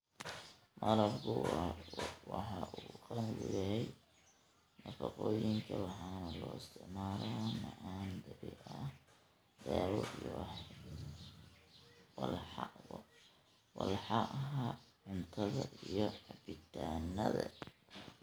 Malabku waxa uu qani ku yahay nafaqooyinka waxaana loo isticmaalaa macaan dabiici ah, dawo, iyo walxaha cuntada iyo cabbitaannada.